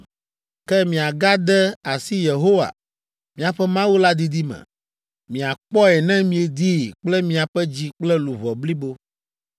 “Ke miagade asi Yehowa, miaƒe Mawu la didi me. Miakpɔe ne miedii kple miaƒe dzi kple luʋɔ blibo.